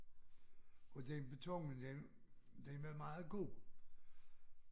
Og den beton den var meget god